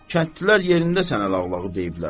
Kəndlilər yerində sənə lağlağı deyiblər.